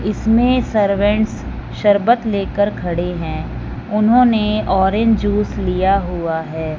इसमें सर्वेंट्स शरबत लेकर खड़े हैं उन्होंने ऑरेंज जूस लिया हुआ है।